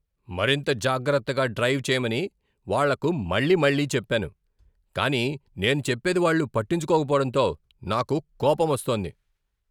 మరింత జాగ్రత్తగా డ్రైవ్ చేయమని వాళ్ళకు మళ్ళీమళ్ళీ చెప్పాను, కానీ నేను చెప్పేది వాళ్ళు పట్టించుకోకపోవడంతో నాకు కోపమొస్తోంది.